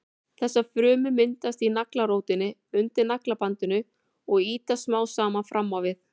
Þessar frumur myndast í naglrótinni undir naglabandinu og ýtast smám saman fram á við.